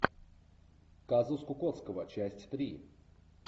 казус кукоцкого часть три